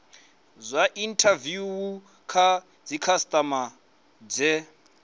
dza inthaviwu kha dzikhasitama dze